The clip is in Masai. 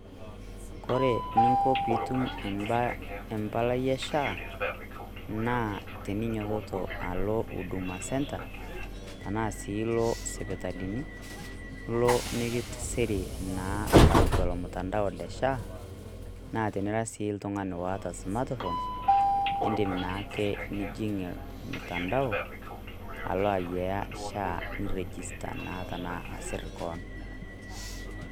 kore eninko piitum empalai e SHA naa eninyototo alo huduma centre tena sii loo sipitalini ilo mikitisiri naa tiatua ilo mtandao lenye le SHA naa tenira oltung'ani otaa smart phone indim naake nijing' mtandao alo ayiaya SHA niregister naa ashu asir kewon